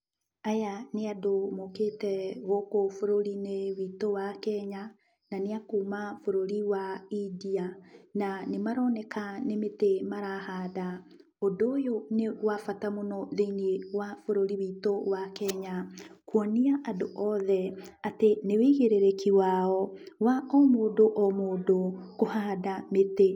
Aya nĩ andũ mokĩte gũkũ bũrũri-inĩ witũ wa Kenya, na nĩ a kuuma bũrũri wa India. Na nĩmaroneka nĩ mĩtĩ marahanda. Ũndũ ũyũ nĩ wabata mũno thĩiniĩ wa bũrũri witũ wa Kenya, kwonia andũ othe atĩ nĩ wĩigĩrĩrĩki wao wa o mũndũ o mũndũ kũhanda mĩtĩ.